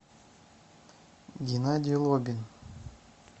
геннадий лобин